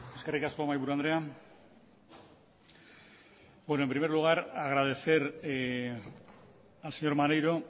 eskerrik asko mahaiburu andrea en primer lugar agradecer al señor maneiro